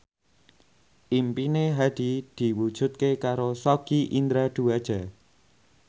impine Hadi diwujudke karo Sogi Indra Duaja